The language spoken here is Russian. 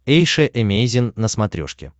эйша эмейзин на смотрешке